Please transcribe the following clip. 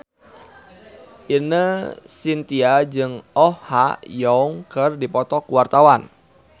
Ine Shintya jeung Oh Ha Young keur dipoto ku wartawan